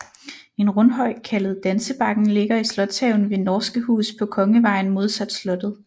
En rundhøj kaldet Dansebakken ligger i slotshaven ved Norske Hus på Kongevejen modsat slottet